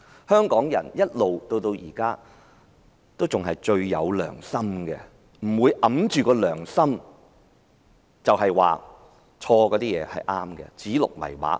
香港人一直以來也是最有良心的，不會掩着良心說錯的事情是對的，不會指鹿為馬。